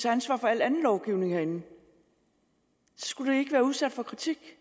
ansvar for al anden lovgivning herinde skulle det ikke blive udsat for kritik